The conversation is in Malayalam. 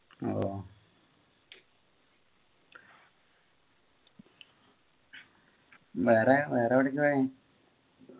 ഓ വേറെ വേറെ എവിടെക്കാ പോയെ